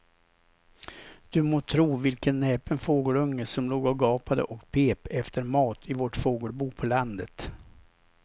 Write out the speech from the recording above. Du må tro vilken näpen fågelunge som låg och gapade och pep efter mat i vårt fågelbo på landet.